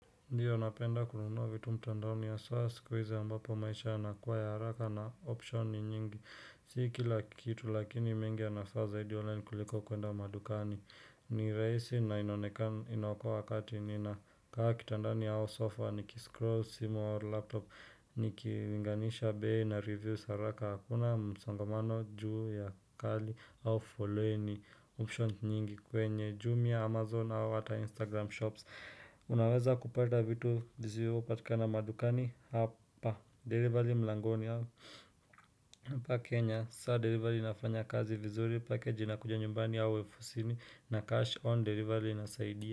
Ndiyo napenda kununua vitu mtandaoni haswa siku hizi ambapo maisha yanakuwa ya haraka na option ni nyingi, siki kila kitu lakini mengi yanafaa zaidi online kuliko kwenda madukani, ni rahisi na inaokoa wakati ninakaa kitandani au sofa, nikiscroll simu au laptop, nikilinganisha bei na reviews haraka, hakuna msangamano juu ya kali au following option nyingi kwenye, jumia, amazon au ata instagram shops, Unaweza kupata vitu zisizopatikana madukani hapa, delivery mlangoni hawa Hapa Kenya, sasa delivery inafanya kazi vizuri package inakuja nyumbani au ofisini na cash on delivery inasaidia.